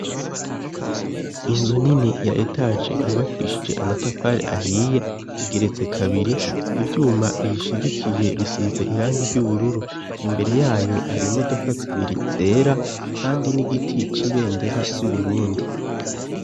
Inzu nini ya etage yubakishije amatafari ahiye igeretse kabiri ibyuma biyishigikiye bisize irangi ry'ubururu imbere yayo hari imodoka zibiri zera kandi n'igiti c'ibendera ry'uburundi.